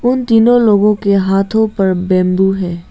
उन तीनों लोगों के हाथों पर बैम्बू है।